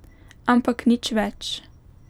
Ampak nič več.